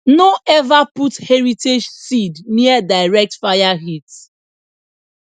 no ever put heritage seed near direct fire heat